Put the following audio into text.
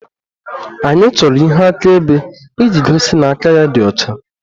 Anyị chọrọ ihe akaebe iji gosi na aka ya dị ọcha